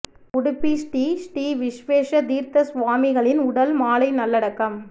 உடுப்பி ஸ்ரீ ஸ்ரீ விஸ்வேஷ தீா்த்த சுவாமிகளின் உடல் மாலை நல்லடக்கம்